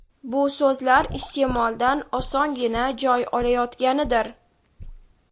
bu so‘zlar iste’moldan osongina joy olayotganidir.